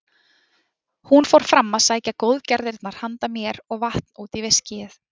Hún fór fram að sækja góðgerðirnar handa mér og vatn út í viskíið.